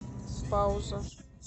пауза